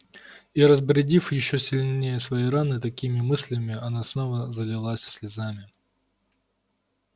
и разбередив ещё сильнее свои раны такими мыслями она снова залилась слезами